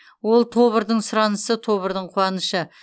ол тобырдың сұранысы тобырдың қуанышы